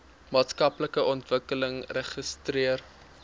maatskaplike ontwikkeling registreer